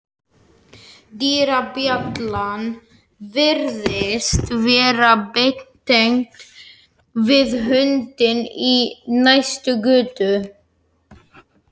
Dyrabjallan virðist vera beintengd við hundinn í næstu götu.